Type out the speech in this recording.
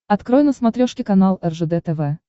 открой на смотрешке канал ржд тв